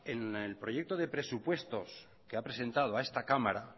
en el proyecto de presupuestos que ha presentado a este cámara